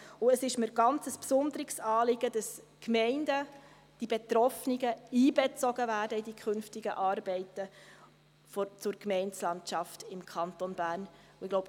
Es ist mir ein ganz besonderes Anliegen, dass die betroffenen Gemeinden in die künftigen Arbeiten zur Gemeindelandschaft im Kanton Bern einbezogen werden.